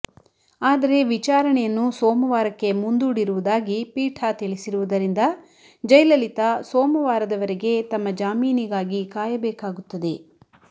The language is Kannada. ಆದರೆ ವಿಚಾರಣೆಯನ್ನು ಸೋಮವಾರಕ್ಕೆ ಮುಂದೂಡಿರುವುದಾಗಿ ಪೀಠ ತಿಳಿಸಿರುವುದರಿಂದ ಜಯಲಲಿತಾ ಸೋಮವಾರದವರೆಗೆ ತಮ್ಮ ಜಾಮೀನಿಗಾಗಿ ಕಾಯಬೇಕಾಗುತ್ತದೆ